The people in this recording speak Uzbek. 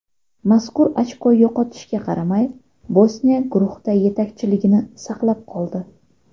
Mazkur ochko yo‘qotishga qaramay, Bosniya guruhda yetakchiligini saqlab qoldi.